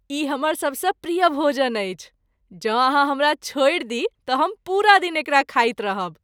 ई हमर सबसँ प्रिय भोजन अछि, जँ अहाँ हमरा छोड़ि दी तँ हम पूरा दिन एकरा खाइत रहब ।